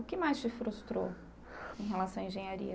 O que mais te frustrou em relação à engenharia?